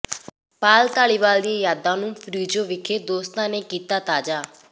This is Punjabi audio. ਪਾਲ ਧਾਲੀਵਾਲ ਦੀਆਂ ਯਾਦਾਂ ਨੂੰ ਫਰਿਜ਼ਨੋ ਵਿਖੇ ਦੋਸਤਾਂ ਨੇ ਕੀਤਾ ਤਾਜ਼ਾ